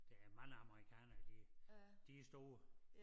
Der er mange amerikanere de de store